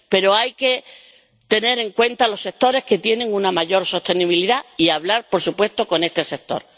Pero hay que tener en cuenta los sectores que tienen una mayor sostenibilidad y hablar, por supuesto, con este sector.